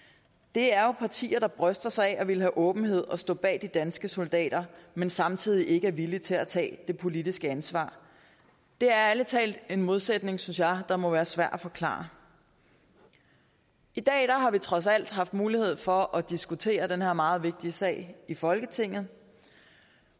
det er jo partier der bryster sig af at ville have åbenhed og stå bag de danske soldater men samtidig ikke er villige til at tage det politiske ansvar det er ærlig talt en modsætning synes jeg der må være svær at forklare i dag har vi trods alt haft mulighed for at diskutere den her meget vigtige sag i folketinget